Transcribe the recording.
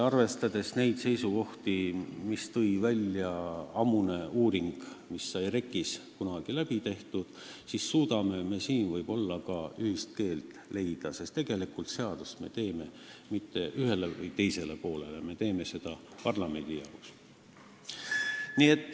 Arvestades neid seisukohti, mille tõi välja ammune uuring, mis sai REKK-is kunagi tehtud, suudame me siin võib-olla ka ühise keele leida, sest seadust ei tee me mitte ühe või teise poole, vaid parlamendi jaoks.